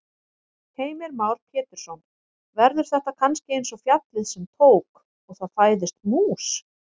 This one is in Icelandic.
Heimir Már Pétursson: Verður þetta kannski eins og fjallið sem tók. og það fæðist mús?